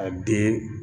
A den